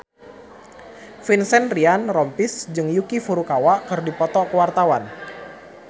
Vincent Ryan Rompies jeung Yuki Furukawa keur dipoto ku wartawan